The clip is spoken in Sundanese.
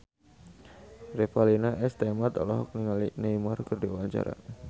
Revalina S. Temat olohok ningali Neymar keur diwawancara